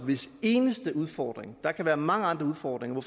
hvis eneste udfordring selv der kan være mange andre udfordringer